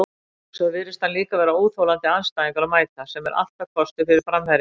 Svo virðist hann líka vera óþolandi andstæðingur að mæta, sem er alltaf kostur fyrir framherja.